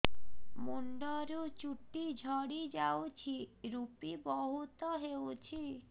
ମୁଣ୍ଡରୁ ଚୁଟି ଝଡି ଯାଉଛି ଋପି ବହୁତ ହେଉଛି